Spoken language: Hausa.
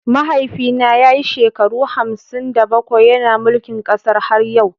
Mahaifina ya yi shekaru hamsin da bakwai yana mulkin kasar har yau.